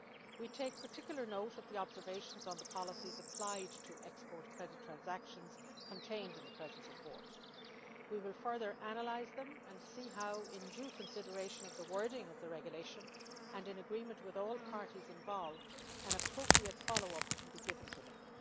We take particular note of the observations on the policies applied to export credit transactions contained in the present report. We will further analyse them and see how in due consideration of the wording of the regulation and in agreement with all parties involved appropriate follow up can be given to them.